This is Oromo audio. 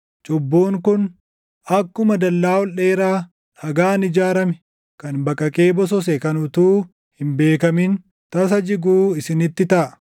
cubbuun kun, akkuma dallaa ol dheeraa dhagaan ijaarame kan baqaqee bosose kan utuu hin beekamin tasa jiguu isinitti taʼa.